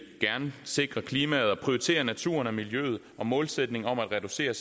gerne sikre klimaet og prioritere naturen og miljøet og målsætningen om at reducere